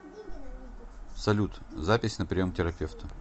салют запись на прием к терапевту